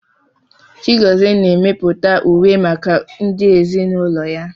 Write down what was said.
Chigozie na-emepụta uwe maka ndị ezinaụlọ ya